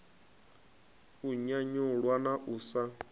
u nyanyulwa na u sa